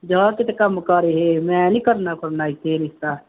ਜਾ ਕਿਤੇ ਕੰਮ ਕਰ ਮੈਂ ਨਹੀਂ ਕਰਨਾ ਕੁਰਨਾ ਇੱਥੇ ਰਿਸ਼ਤਾ